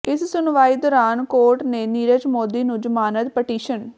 ਇਸ ਸੁਣਵਾਈ ਦੌਰਾਨ ਕੋਰਟ ਨੇ ਨੀਰਵ ਮੋਦੀ ਦੀ ਜ਼ਮਾਨਤ ਪਟੀਸ਼ਨ